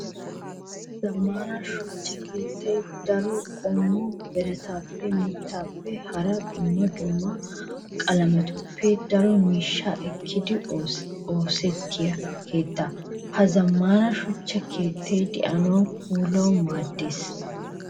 Zamaana suchcha keettay daro qommo birattappe, mittappenne hara dumma dumma qalamettuppe daro miishsha ekkidi oosetiya keetta. Ha zammaana shuchcha keettay de'anawunne puulawu maaddees.